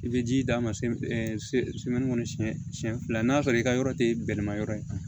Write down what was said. I bɛ ji d'a ma sɛn siɲɛ fila n'a sɔrɔ i ka yɔrɔ tɛ bɛlɛma yɔrɔ ye